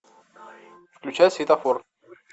включай светофор